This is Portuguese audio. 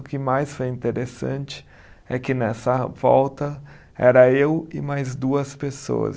O que mais foi interessante é que nessa volta era eu e mais duas pessoas.